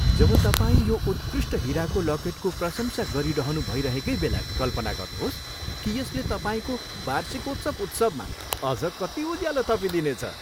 जब तपाईँ यो उत्कृष्ट हिराको लकेटको प्रशंसा गरिरहनु भइरहेकै बेला कल्पना गर्नुहोस् कि यसले तपाईँको वार्षिकोत्सव उत्सवमा अझ कति उज्यालो थपिदिनेछ।